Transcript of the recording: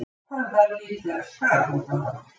Höfðar líklega skaðabótamál